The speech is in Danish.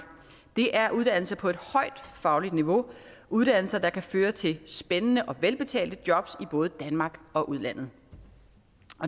det er uddannelser på et højt fagligt niveau uddannelser der kan føre til spændende og velbetalte jobs i både danmark og udlandet